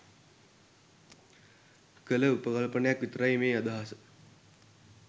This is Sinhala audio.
කළ උපකල්පනයක් විතරයි මේ අදහස.